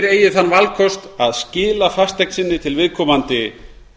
eigi þann valkost að skila fasteign sinni til viðkomandi